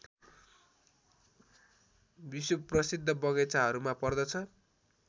विश्वप्रसिद्ध बगैंचाहरूमा पर्दछ